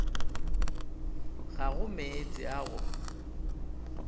go ga meetse a go